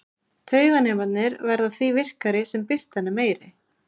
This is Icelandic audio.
Tauganemarnir verða því virkari sem birtan er meiri.